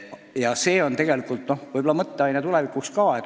Ja see on tegelikult mõtteaine ka tulevikuks.